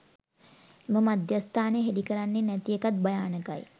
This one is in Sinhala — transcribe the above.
එම මධ්‍යස්ථානය හෙළි කරන්නේ නැතිඑකත් භයානකයි.